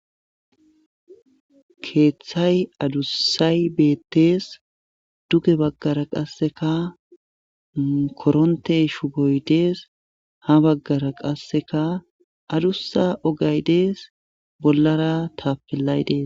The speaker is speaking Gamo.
keeththay adussay beettees duge baggara qasseka koronte shu boydees ha baggara qasseka adussa ogay dees bollara taapillay dees